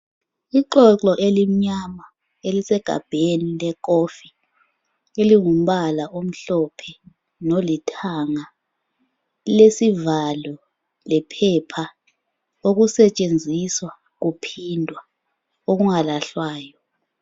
Ixoxo elimnyama elisegabheni lekofi elingumbala omhlophe lolithanga. Lilesivalo lephepha okusetshenziswa kuphindwa okungalahlwayo.